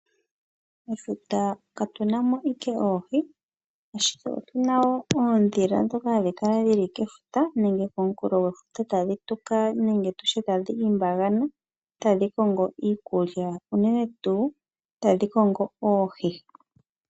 Mefuta katu na mo owala oohi ashike otu na wo oondhila ndhoka hadhi kala dhili kefuta nenge koonkulodhefuta tadhi tuka nenge tadhi limbagana tadhi kongo iikulya unene tuu tadhi kongo oohi.